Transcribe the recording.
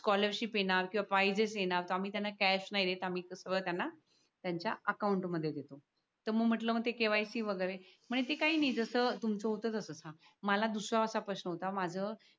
scholarship येणार किंवा prizes येणार तर मग त्यांना आम्ही कॅश नाहीं देत आम्ही सगळ त्यांना त्यांच्या अकाउंट मध्ये देत तर मग म्हटल म्हणते KYC वगेरे म्हणे ते काही नाही जस तुमच होत्त तस च आहे मला दुसरा असा प्रश्न होता माझ